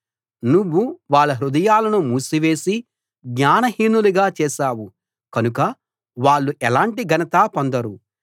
నువ్వు వాళ్ళ హృదయాలను మూసివేసి జ్ఞానహీనులుగా చేశావు కనుక వాళ్ళు ఎలాంటి ఘనతా పొందరు